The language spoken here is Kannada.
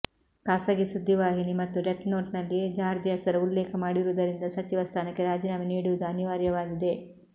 ಖಾಸಗಿ ಸುದ್ದಿ ವಾಹಿನಿ ಮತ್ತು ಡೆತ್ನೋಟ್ನಲ್ಲಿ ಜಾರ್ಜ್ ಹೆಸರು ಉಲ್ಲೇಖ ಮಾಡಿರುವುದರಿಂದ ಸಚಿವ ಸ್ಥಾನಕ್ಕೆ ರಾಜೀನಾಮೆ ನೀಡುವುದು ಅನಿವಾರ್ಯವಾಗಿದೆ